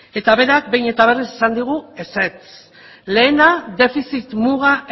eta berak behin eta berriz esan digu ezetz lehena defizit muga